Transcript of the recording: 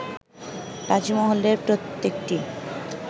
তাজমহলের প্রত্যেকটি